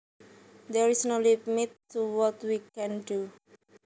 There is no limit to what we can do